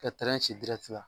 Ka tɛrɛn ci dirɛti la